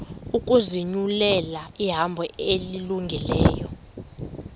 ukuzinyulela ihambo elungileyo